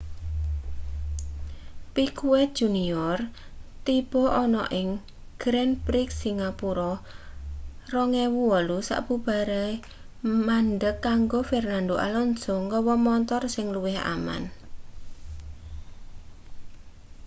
piquet jr tiba ana ing grand prix singapura 2008 sabubare mandheg kanggo fernando alonso nggawa montor sing luwih aman